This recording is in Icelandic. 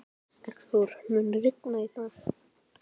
Eggþór, mun rigna í dag?